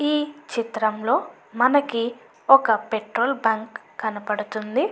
ఈ చిత్రంలో మనకి ఒక పెట్రోల్ బంకు కనపడుతుంది.